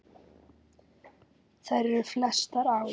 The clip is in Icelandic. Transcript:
Þær eru flestar á